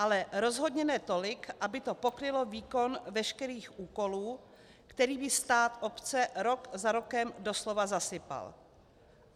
Ale rozhodně ne tolik, aby to pokrylo výkon veškerých úkolů, kterými stát obce rok za rokem doslova zasypal.